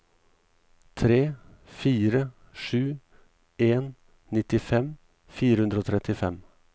tre fire sju en nittifem fire hundre og trettifem